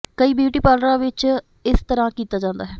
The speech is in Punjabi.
ਕਈ ਬਿਊਟੀ ਪਾਰਲਰਾਂ ਵਿ ੱਚ ਇਸ ਤਰ੍ਹਾਂ ਕੀਤਾ ਜਾਂਦਾ ਹੈ